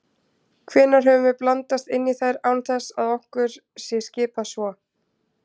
Hvenær höfum við blandast inn í þær án þess að okkur sé skipað svo?